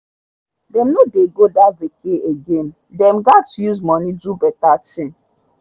dey no dey go that vacay again dem gat use money do better thing